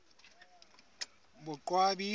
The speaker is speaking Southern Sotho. boqwabi